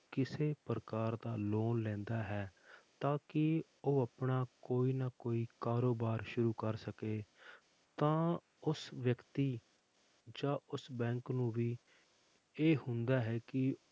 ਕਿਸੇ ਪ੍ਰਕਾਰ ਦਾ loan ਲੈਂਦਾ ਹੈ ਤਾਂ ਕਿ ਉਹ ਆਪਣਾ ਕੋਈ ਨਾ ਕੋਈ ਕਾਰੋਬਾਰ ਸ਼ੁਰੂ ਕਰ ਸਕੇ ਤਾਂ ਉਸ ਵਿਅਕਤੀ ਜਾਂ ਉਸ bank ਨੂੰ ਵੀ ਇਹ ਹੁੰਦਾ ਹੈ ਕਿ